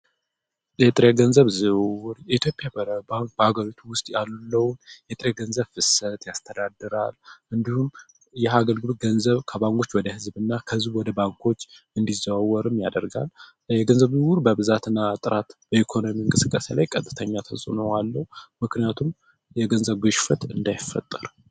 የጥሬ ገንዘብ ዝውር የትዮጵያ በባክ በአገሎቱ ውስጥ ያሉለውን የጥሬ ገንዘብ ፍሰት ያስተዳድራል እንዲሁም እየአገልግሉት ገንዘብ ከባንጎች ወደ ሕዝብ እና ከዙብ ወደ ባንኮች እንዲዘወርም ያደርጋል የገንዘብ ዝውር በብዛት እና አጥራት በኢኮኖሚ እንቅስቀሴ ላይ ቀጥተኛ ተጽነ አለው ምክንያቱም የገንዘብ ውሽፍት እንዳይፈጠር፡፡